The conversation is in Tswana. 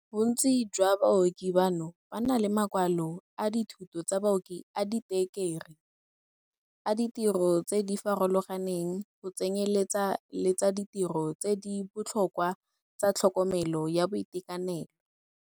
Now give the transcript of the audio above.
Bontsi jwa baoki bano ba na le makwalo a dithuto tsa baoki a ditekerii, a ditiro tse di farologaneng, go tsenyeletsa le tsa ditiro tse di botlhokwa tsa tlhokomelo ya boitekanelo.